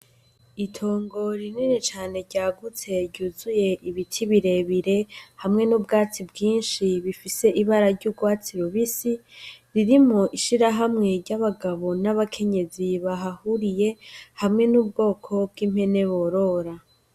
Itongo rinini cane ryuzuye Ibiti birebire hamwe n;ubwatsi bwinshi busa n'icatsi ririmwo ishirahamwe ry'abagabo n'abakenyezi bahahuriye hamwe n'ubwoko bw'impene borora.